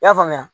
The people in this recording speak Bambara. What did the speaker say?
I y'a faamuya